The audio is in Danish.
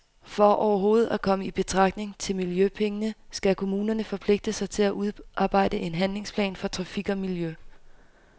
For overhovedet at komme i betragtning til miljøpengene skal kommunerne forpligte sig til at udarbejde en handlingsplan for trafik og miljø.